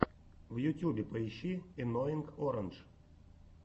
в ютьюбе поищи энноинг орандж